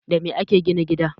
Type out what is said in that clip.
Da me ake gina gida?